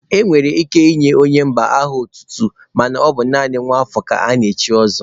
E nwere ike inye onye mba aha otutu mana ọ bụ naanị nwa afọ ka ana-echi ọzọ.